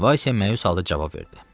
Vasya məyus halda cavab verdi: